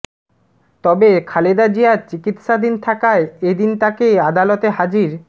তবে খালেদা জিয়া চিকিৎসাধীন থাকায় এদিন তাকে আদালতে হাজির